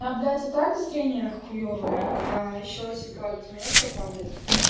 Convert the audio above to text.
да блять и так зрение хуёвое а ещё типа от мефа падает